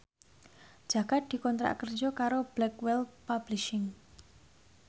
Jaka dikontrak kerja karo Blackwell Publishing